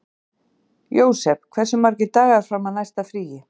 Jósep, hversu margir dagar fram að næsta fríi?